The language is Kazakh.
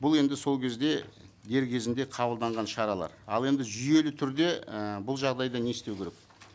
бұл енді сол кезде дер кезінде қабылданған шаралар ал енді жүйелі түрде і бұл жағдайда не істеу керек